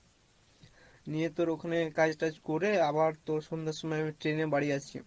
নিয়ে তোর ওখানে কাজ টাজ করে আবার তোর সন্ধার সময় আমি train এ বাড়ি আসি